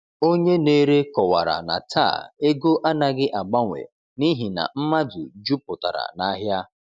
Onye na-ere kọwara na taa ego anaghị agbanwe n’ihi na mmadụ jupụtara n’ahịa.